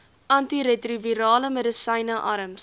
antiretrovirale medisyne arms